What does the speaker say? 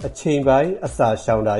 အချိန်ပိုင်းအစာရှောင်တာ